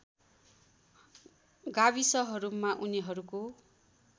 गाविसहरूमा उनीहरूको